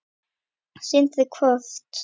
Sindri: Hvort?